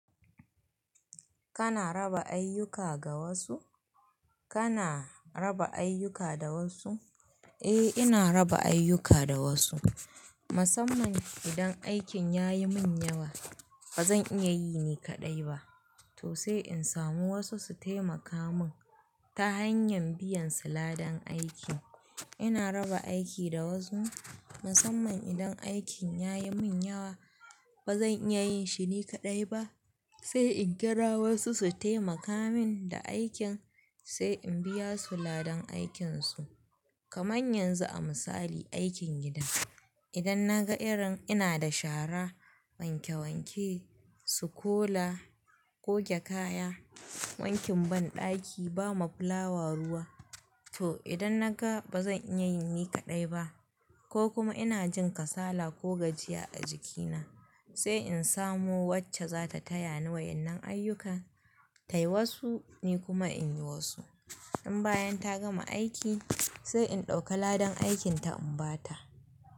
Kana raba ayyuka ga wasu? Kana raba ayyuka da wasu? Eh, ina raba ayyuka da wasu. Musamman idan aikin ya yi min yawa ba zan iya yi ni kaɗai ba to sai in samu wasu su taimaka min ta hanyan biyan su ladan aikin. Ina raba aiki da wasu musamman idan aikin ya yi min yawa ba zan iya yin shi ni kaɗai ba sai in kira wasu su taimaka min da aikin sai in biya su ladan aikinsu. Kamar yanzu a misali aikin gida, idan na ga irin ina da shara, wanke wanke, sukola, goge kaya, wankin banɗaki, ba ma fulawa ruwa to idan na ga ba zan iya yi ni kaɗai ba ko kuma ina jin kasala ko gajiya a jikina sai in samo wacce za ta taya ni wayannan ayyuka tayi wasu ni kuma in yi wasu. In bayan ta gama aiki sai in ɗauka ladan aikin ta in ba ta.